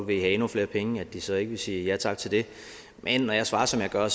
vil have endnu flere penge at de så ikke vil sige ja tak til det men når jeg svarer som jeg gør